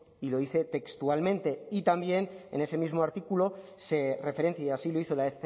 y lo dice textualmente y también en ese mismo artículo se referencia y así lo hizo la